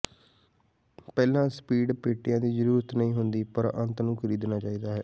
ਪਹਿਲਾਂ ਸਪੀਡ ਪੇਟੀਆਂ ਦੀ ਜਰੂਰਤ ਨਹੀਂ ਹੁੰਦੀ ਪਰ ਅੰਤ ਨੂੰ ਖਰੀਦਣਾ ਚਾਹੀਦਾ ਹੈ